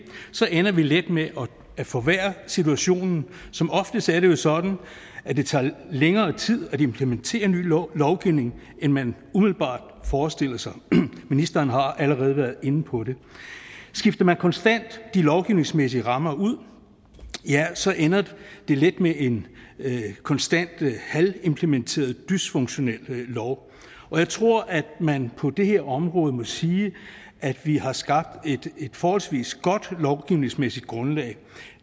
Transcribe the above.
så ender vi let med at forværre situationen som oftest er det jo sådan at det tager længere tid at implementere ny lovgivning end man umiddelbart forestiller sig ministeren har allerede været inde på det skifter man konstant de lovgivningsmæssige rammer ud ja så ender det let med en konstant halvimplementeret dysfunktionel lov jeg tror at man på det her område må sige at vi har skabt et forholdsvis godt lovgivningsmæssigt grundlag